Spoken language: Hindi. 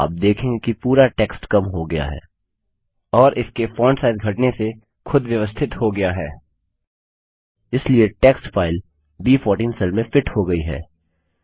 आप देखेंगे कि पूरा टेक्स्ट कम हो गया है और इसके फॉन्ट साइज घटने से खुद व्यवस्थित हो गया है इसलिए टेक्स्ट फाइल ब14 सेल में फिट हो गई है